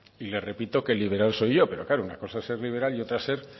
y le repito que el liberal soy yo pero claro es que una cosa es ser liberal y otra es ser